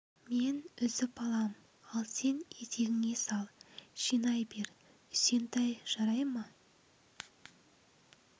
мен үзіп алам ал сен етегіңе сал жинай бер үсентай жарай ма